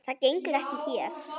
Það gengur ekki hér.